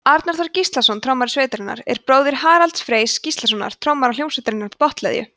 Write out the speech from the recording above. arnar þór gíslason trommari sveitarinnar er bróðir haralds freys gíslasonar trommara hljómsveitarinnar botnleðju